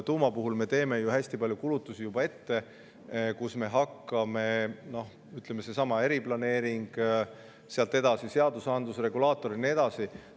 Tuuma puhul me teeme ju hästi palju kulutusi juba ette: seesama eriplaneering, sealt edasi seadusandluse regulaator ja nii edasi.